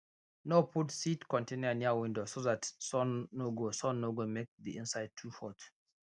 no put seed container near window so that sun no go sun no go make the inside too hot